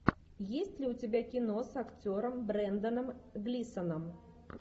есть ли у тебя кино с актером бренданом глисоном